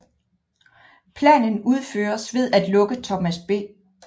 Planen udføres ved at lukke Thomas B